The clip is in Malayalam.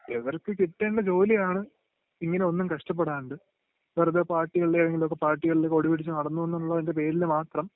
അപ്പൊ ഇവർക്ക് കിട്ടേണ്ട ജോലിയാണ് ഇങ്ങനെയൊന്നും കഷ്ടപ്പെടാണ്ട് വെറുതെ പാർട്ടികളുടെ..ഏതെങ്കിലുമൊക്കെ പാർട്ടികളുടെ കൊടിപിടിച്ചു നടന്നു എന്നുള്ളതിന്റെ പേരില് മാത്രം